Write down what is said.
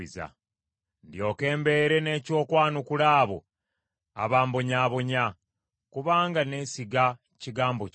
ndyoke mbeere n’eky’okwanukula abo abambonyaabonya; kubanga neesiga kigambo kyo.